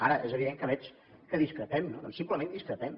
ara és evident que veig que discrepem no doncs simplement discrepem